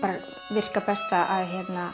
virka best að